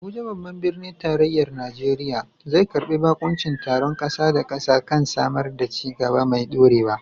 Abuja, babban birnin tarayyar Najeriya, zai karbi bakuncin taron kasa da kasa kan samar da ci gaba mai dorewa.